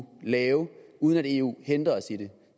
lave uden at eu hindrer os i det